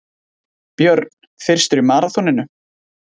Björn fyrstur í maraþoninu